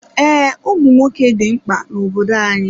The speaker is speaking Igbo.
Ee, ụmụnwoke dị mkpa n'obodo anyị.